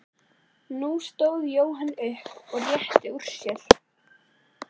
Nú stóð Jóhann upp og rétti úr sér.